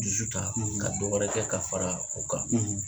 Dusu ta ka dɔ wɛrɛ kɛ ka fara o kan